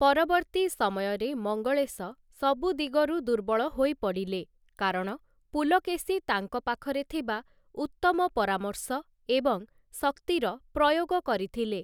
ପରବର୍ତ୍ତୀ ସମୟରେ ମଙ୍ଗଳେଶ ସବୁ ଦିଗରୁ ଦୁର୍ବଳ ହୋଇପଡ଼ିଲେ, କାରଣ ପୁଲକେଶୀ ତାଙ୍କ ପାଖରେ ଥିବା ଉତ୍ତମ ପରାମର୍ଶ ଏବଂ ଶକ୍ତିର ପ୍ରୟୋଗ କରିଥିଲେ ।